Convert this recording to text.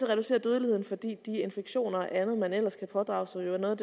reducere dødeligheden fordi de infektioner og andet man ellers kan pådrage sig jo er noget